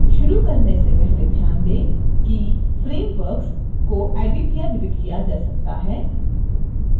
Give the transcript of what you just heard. शुरू करने से पहले ध्यान दें किframeworks को एडिट या डिलीट किया जा सकता है